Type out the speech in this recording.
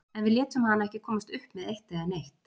En við létum hana ekki komast upp með eitt eða neitt.